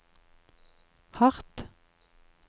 hardt